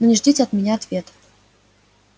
не ждите от меня ответа